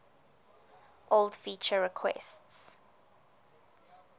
old feature requests